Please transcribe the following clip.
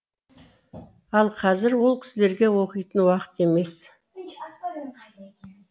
ал қазір ол кісілерге оқитын уақыт емес